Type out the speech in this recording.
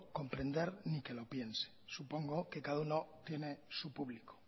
comprender ni que lo piense supongo que cada uno tiene su publico